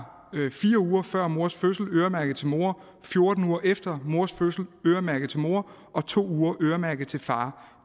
fire uger før mors fødsel øremærket til mor fjorten uger efter mors fødsel øremærket til mor og to uger øremærket til far